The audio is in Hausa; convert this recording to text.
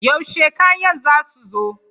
Yaushe kanyan za su zo?